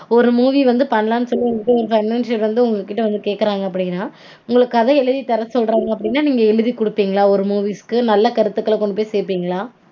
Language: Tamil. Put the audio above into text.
ஒரு movie வந்து பண்லானு சொல்லி உங்கக்கிட்ட ஒரு financier வந்து உங்கக்கிட்ட வந்து கேக்கறாங்க அப்டீனா உங்களுக்கு கதை எழுதி தர சொல்றாங்க அப்டீனா நீங்க எழுதி கொடுப்பீங்களா ஒரு movies -க்கு நல்ல கருத்துக்கள கொண்டு போய் சேர்ப்பீங்களா?